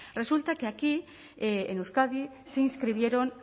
resulta que aquí en euskadi se inscribieron